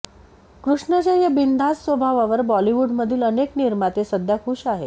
कृष्णाच्या या बिनधास्त स्वभावावर बॉलिवूडमधील अनेक निर्माते सध्या खूश आहेत